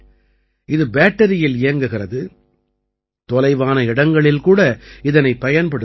இது பேட்டரியில் இயங்குகிறது தொலைவான இடங்களில் கூட இதனைப் பயன்படுத்த இயலும்